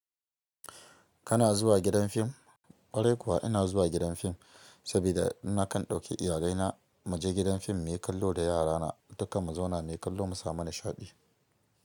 Kana zuwa gidan fim? Ƙwarai kuwa ina zuwa gidan fim sabida in na kan ɗauki iyalai na mu je gidan fim mu yi kallo da yara na. Dukka mu zauna na yi kallo mu samu nishaɗi.